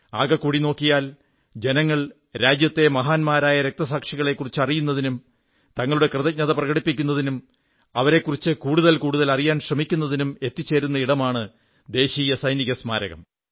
ആകെക്കൂടി നോക്കിയാൽ ജനങ്ങൾ രാജ്യത്തെ മഹാന്മാരായ രക്തസാക്ഷികളെക്കുറിച്ച് അറിയുന്നതിനും തങ്ങളുടെ കൃതജ്ഞത പ്രകടിപ്പിക്കുന്നതിനും അവരെക്കുറിച്ച് കൂടുതൽ കൂടുതൽ അറിയാൻ ശ്രമിക്കുന്നതിനും എത്തിച്ചേരുന്ന ഇടമാണ് ദേശീയ സൈനിക സ്മാരകം